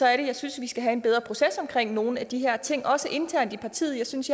at jeg synes at vi skal have en bedre proces omkring nogle af de her ting også internt i partiet jeg synes